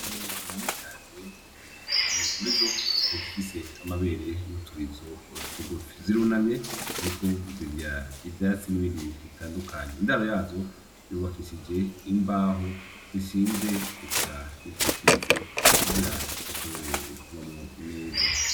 Ingurube nyinshi cane ziri hamwe murizo hari izifise amabere n'uturizo tugufi, zirunamye ziriko zirya ivyatsi n'ibindi bintu bitandukanye, indaro yazo yubakishije imbaho zishinze eka nizikitse kugira zishobore kubamwo neza.